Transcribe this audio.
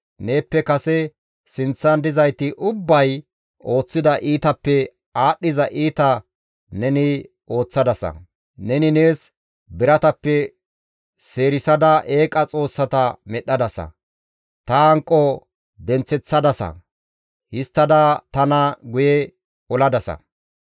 Neeppe kase sinththan dizayti ubbay ooththida iitappe aadhdhiza iita neni ooththadasa; neni nees biratappe seerisada eeqa xoossata medhdhadasa. Ta hanqo denththeththadasa; histtada tana guye oladasa.